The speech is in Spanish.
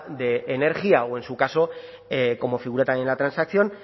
de energía o en su caso como figura también en la transacción